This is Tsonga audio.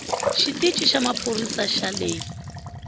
xitici xa maphorisa xa le